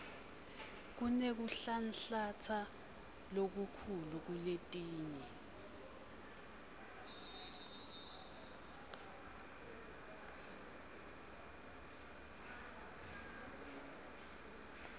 kunekuhlanhlatsa lokukhulu kuletinye